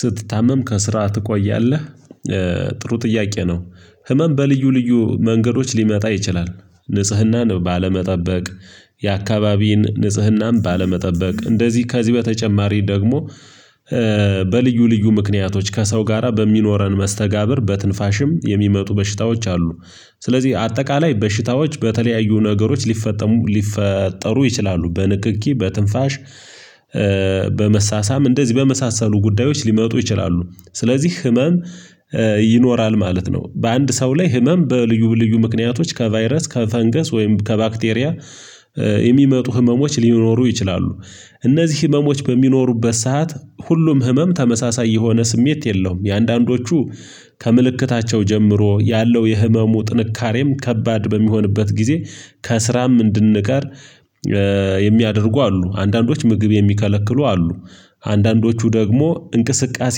ስትታመም ከስራ ትቆያለህ? ጥሩ ጥያቄ ነው ህመም በልዩ ልዩ መንገዶች ሊመጣ ይችላል። ንጽህናን ባለመጠበቅ የአካባቢ ንጽህናን ባለመጠበቅ እንደዚህ ከዚህ በተጨማሪ ደግሞ። በልዩ ልዩ ምክንያቶች ከሰው ጋራ በሚኖረን መስተጋብር በትንፋሽም የሚመጡ በሽታዎች አሉ። ስለዚህ አጠቃላይ በሽታዎች በተለያዩ ነገሮች ሊፈጠሩ ሊፈጠሩ ይችላሉ በንክኪ በትንፋሽ። በመሳሳም እንደዚህ በመሳሰሉ ጉዳዮች ሊመጡ ይችላሉ ስለዚህ ህመም። ይኖራል ማለት ነው በአንድ ሰው ላይ ህመም በልዩ ልዩ ምክንያቶች ከቫይረስ ከፈንገስ ወይም ከባክቴሪያ የሚመጡ ህመሞች ሊኖሩ ይችላሉ። እነዚህ ህመሞች በሚኖሩበት ሰዓት ሁሉም ህመም ተመሳሳይ የሆነ ስሜት የለውም። የአንዳንዶቹ ከምልክታቸው ጀምሮ ያለው የህመሙ ጥንካሬም ከባድ በሚሆንበት ጊዜ ከስራም እንድንቀር የሚያደርጉ አሉ አንዳንዶች ምግብ የሚከለክሉ አሉ። አንዳንዶቹ ደግሞ እንቅስቃሴ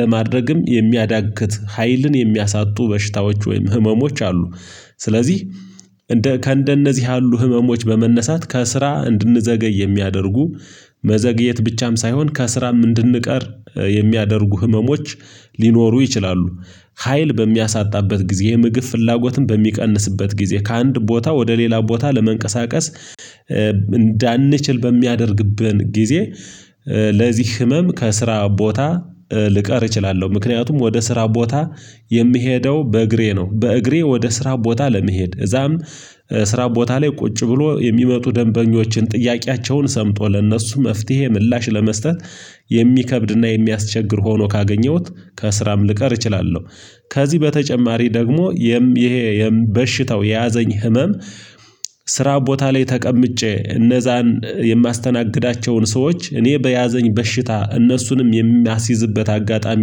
ለማድረግም የሚያዳግት ሀይልን የሚያሳጡ በሽታዎች ወይም ህመሞች አሉ። ስለዚህ እንደ ከእንደነዚህ ያሉ ህመሞች በመነሳት ከስራ እንድንዘገይ የሚያደርጉ መዘግየት ብቻም ሳይሆን ከስራም እንድንቀር የሚያደርጉ ህመሞች ሊኖሩ ይችላሉ። ሀይል በሚያሳጣበት ጊዜ ምግብ ፍላጎትን በሚቀንስበት ጊዜ ከአንድ ቦታ ወደ ሌላ ቦታ ለመንቀሳቀስ እንዳንችል በሚያደርግብን ጊዜ። ለዚህ ህመም ከስራ ቦታ ልቀር እችላለሁ ምክንያቱም ወደ ስራ ቦታ የምሄደው በእግሬ ነው። በእግሬ ወደ ስራ ቦታ ለመሄድ እዛም ስራ ቦታ ላይ ቁጭ ብሎ የሚመጡ ደንበኞችን ጥያቄያቸውን ሰምቶ ለእነርሱ መፍትሄ ምላሽ ለመስጠት የሚከብድና የሚያስቸግር ሆኖ ካገኘሁት ከስራም ልቀር እችላለሁ። ከዚህ በተጨማሪ ደግሞ ይሄ የበሽታው የያዘኝ ህመም። ስራ ቦታ ላይ ተቀምጬ እነዛን የማስተናግዳቸውን ሰዎች እኔ በያዘኝ በሽታ እነሱንም የሚያስይዝበት አጋጣሚ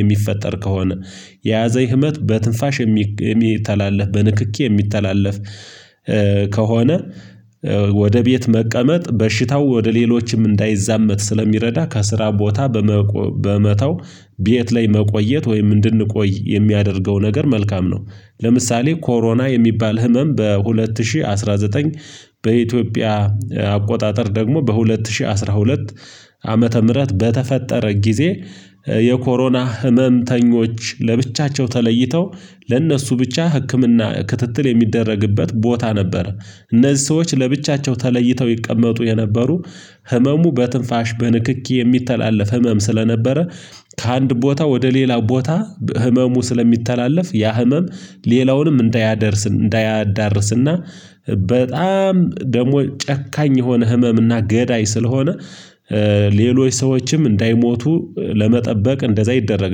የሚፈጠር ከሆነ የያዘኝ ህመም በትንፋሽ የሚተላለፍ በንክኪ የሚተላለፍ ከሆነ። ወደ ቤት መቀመጥ በሽታው ወደ ሌሎችም እንዳይዛመት ስለሚረዳ ከስራ ቦታ በመተው ቤት ላይ መቆየት ወይም እንድንቆይ የሚያደርገው ነገር መልካም ነው። ለምሳሌ ኮሮና የሚባል ህመም በሁለት ሺህ አስራ ዘጠኝ በኢትዮጵያ አቆጣጠር ደግሞ በሁለት ሺህ አስራ ሁለት ዓመተ ምህረት በተፈጠረ ጊዜ የኮሮና ህመምተኞች ለብቻቸው ተለይተው ለእነሱ ብቻ ህክምና ክትትል የሚደረግበት ቦታ ነበር። እነዚህ ሰዎች ለብቻቸው ተለይተው ይቀመጡ የነበሩ ህመሙ በትንፋሽ በንክኪ የሚተላለፍ ህመም ስለነበረ ከአንድ ቦታ ወደ ሌላ ቦታ ህመሙ ስለሚተላለፍ ያ ህመም ሌላውንም እንዳያደርስ እንዳያዳርስና በጣም ደግሞ ጨካኝ የሆነ ህመም እና ገዳይ ስለሆነ ሌሎች ሰዎችም እንዳይሞቱ ለመጠበቅ እንደዛ ይደረግ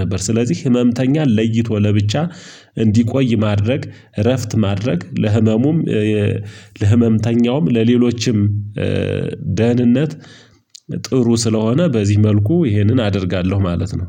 ነበር። ስለዚህ ህመምተኛን ለይቶ ለብቻ እንዲቆይ ማድረግ እረፍት ማድረግ ለህመሙም ለህመምተኛውም ለሌሎችም ደህንነት ጥሩ ስለሆነ በዚህ መልኩ ይህንን አደርጋለሁ ማለት ነው።